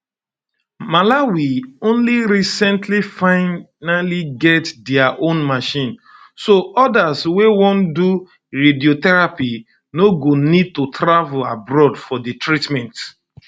malawi only recently finally get dia own machine so odas way wan do radiotherapy no go need to travel abroad for di treatment